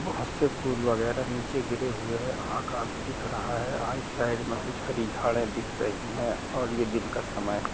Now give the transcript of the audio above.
हाथ से फूल वगैरा नीचे गिरे हुए है आकाश दिख रहा है राईट साइड मे कुछ हरी झाड़े दिख रही है और ये दिन का समय है।